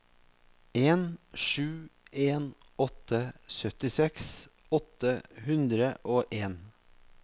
en sju en åtte syttiseks åtte hundre og en